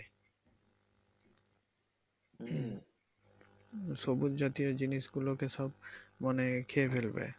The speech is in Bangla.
সবুজ জাতীয় জিনিস গুলোকে সব মানে খেয়ে ফেলবে।